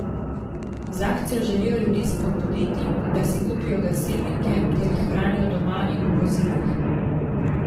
Z akcijo želijo ljudi spodbuditi, da si kupijo gasilnike ter jih hranijo doma in v vozilih.